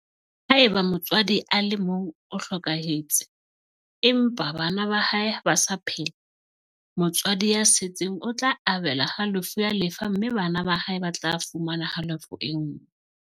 Haeba motswadi a le mong o hlokahetse, empa bana ba hae ba sa phela, motswadi ya setseng o tla abelwa halofo ya lefa mme bana ba hae ba tla fumana halofo e nngwe.